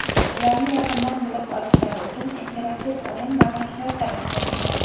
ularni yaqindan bilib olishilari uchun interaktiv o‘yin va mashg‘ulotlar o‘tkazildi.